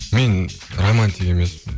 мен романтик емеспін